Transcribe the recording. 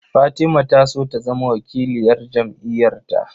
Fatima ta so ta zama wakiliyar jam'iyar ta